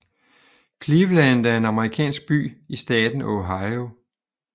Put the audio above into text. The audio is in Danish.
Cleveland er en amerikansk by i staten Ohio